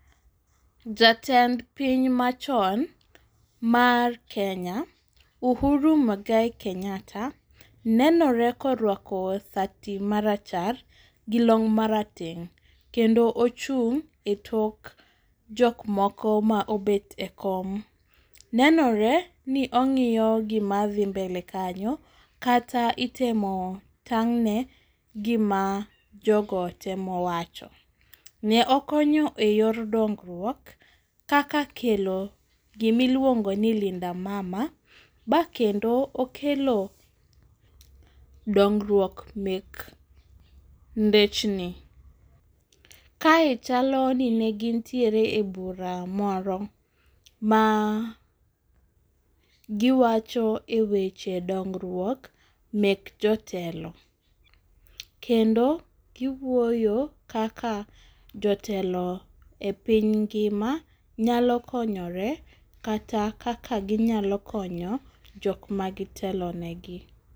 Jatend piny machon mar Kenya, Uhuru Muigai Kenyatta nenore koruako sati marachar gi long' marateng', kendo ochung' e tok jokmoko ma obet e kom. Nenoreni ong'iyo gima dhi mbele kanyo, kata itemo tang'ne gima jogo temo wacho. Ne okonyo e yor dongruok kaka kelo gima iluongoni linda mama bakendo okelo dongruok mek ndechni. Kae chaloni negin ntiere e bura moro magiwacho e weche dongruok mek jotelo, kendo giwuoyo kaka jotelo e piny ngima nyalo konyore kata kaka ginyalo konyo jokma gitelo negi.